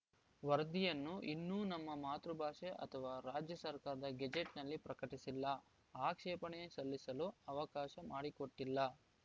ವರದಿಯನ್ನು ಇನ್ನೂ ನಮ್ಮ ಮಾತೃ ಭಾಷೆ ಅಥವಾ ರಾಜ್ಯ ಸರ್ಕಾರದ ಗೆಜೆಟ್‌ನಲ್ಲಿ ಪ್ರಕಟಿಸಿಲ್ಲ ಆಕ್ಷೇಪಣೆ ಸಲ್ಲಿಸಲು ಅವಕಾಶ ಮಾಡಿಕೊಟ್ಟಿಲ್ಲ